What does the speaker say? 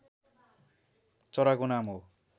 चराको नाम हो